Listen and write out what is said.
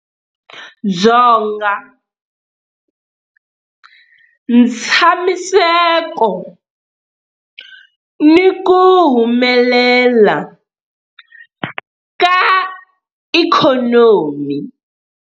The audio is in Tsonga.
Dzonga, ntshamiseko ni ku humelela ka ikhonomi.